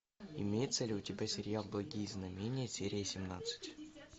имеется ли у тебя сериал благие знамения серия семнадцать